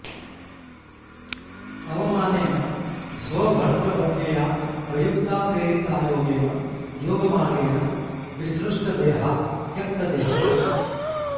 अवमानेन स्वभर्त्रवज्ञया प्रयुक्ता प्रेरिता योगेन योगमार्गेण विसृष्टदेहा त्यक्तदेहा सती